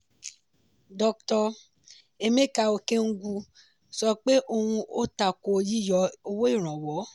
doctor emeka okengwu sọ pé òun o tako yíyọ owó ìrànwọ́.